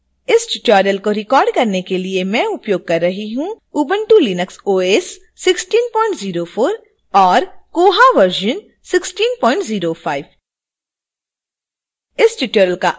इस tutorial को record करने के लिए मैं उपयोग कर रही हूँ